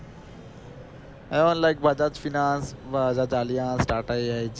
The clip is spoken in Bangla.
Bajaj finance বা the Alliance, TATA AIG